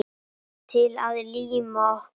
Til að líma okkur.